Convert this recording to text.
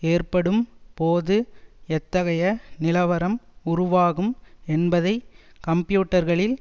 ஏற்படும் போது எத்தகைய நிலவரம் உருவாகும் என்பதை கம்பியூட்டர்களில்